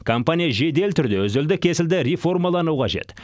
компания жедел түрде үзілді кесілді реформалану қажет